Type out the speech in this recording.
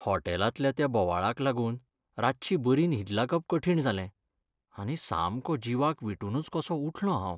होटॅलांतल्या त्या बोवाळाक लागून रातची बरी न्हीद लागप कठीण जालें, आनी सामको जिवाक विटूनच कसो उठलों हांव.